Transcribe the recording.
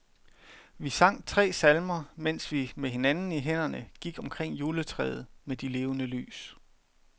Vi sang tre salmer, mens vi med hinanden i hænderne gik omkring juletræet med de levende lys.